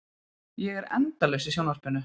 Ég er endalaust í sjónvarpinu.